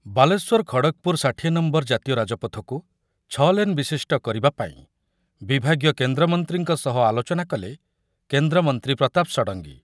ବାଲେଶ୍ୱର ରୁ ଖଡଗପୁର ଷାଠିଏ ନମ୍ବର ଜାତୀୟ ରାଜପଥକୁ ଛଅଲେନ ବିଶିଷ୍ଟ କରିବା ପାଇଁ ବିଭାଗୀୟ କେନ୍ଦ୍ରମନ୍ତ୍ରୀଙ୍କ ସହ ଆଲୋଚନା କଲେ କେନ୍ଦ୍ରମନ୍ତ୍ରୀ ପ୍ରତାପ ଷଡଙ୍ଗୀ ।